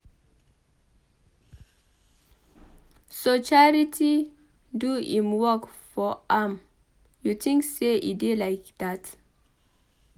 So Charity do im work for am you think say e dey like dat